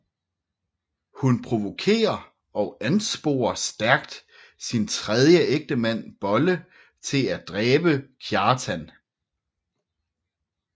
Hun provokerer og ansporer stærkt sin tredje ægtemand Bolle til at dræbe Kjartan